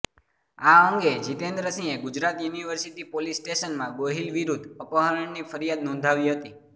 આ અંગે જીતેન્દ્રસિંહે ગુજરાત યુનિવર્સિટી પોલીસ સ્ટેશનમાં ગોહિલ વિરૂધ્ધ અપહરણની ફરિયાદ નોંદાવી હતી